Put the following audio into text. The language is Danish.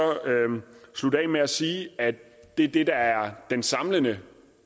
slutte af med at sige at det er det der er en samlende